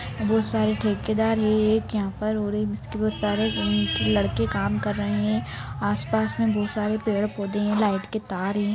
बहोत सारे ठेकेदार हैं एक यहाँ पर और है उसके पास बहोत सारे लड़के काम कर रहे हैं आस-पास में बहोत सारे पेड़ पौधे हैं लाइट के तार हैं ।